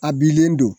A bilen don